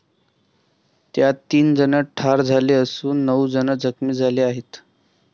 त्यात तीन जण ठार झाले असून नऊ जण जखमी झाले आहेत.